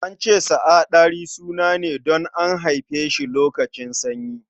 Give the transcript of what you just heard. An ce sa a Ɗari suna ne don an haife shi lokacin sanyi.